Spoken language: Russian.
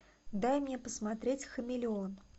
дай мне посмотреть хамелеон